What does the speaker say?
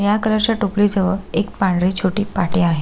निळ्या कलर च्या टोपली जवळ एक पांढरी छोटी पाटी आहे.